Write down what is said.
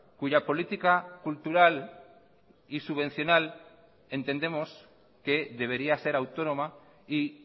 cuya política cultural y subvencional entendemos que debería ser autónoma y